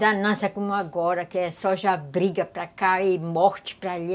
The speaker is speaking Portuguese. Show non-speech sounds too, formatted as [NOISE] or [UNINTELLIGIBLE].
[UNINTELLIGIBLE] como agora, que é só já briga para cá e morte para ali.